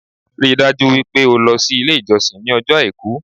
Ríi dájú wípé o lo sí Ilé ìjọsìn ní ọjọ́ Àìkú